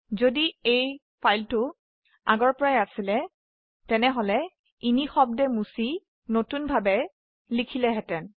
যদি এই ফাইলটো আগৰ পৰাই আছিলে তেনেহলে নিঃশব্দে মুছি নতুনভাবে লিখিলেহেতেন